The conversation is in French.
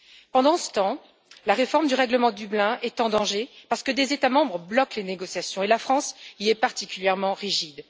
Pendant ce temps, la réforme du règlement de Dublin est en danger parce que des États membres bloquent les négociations et la France est à ce sujet particulièrement rigide.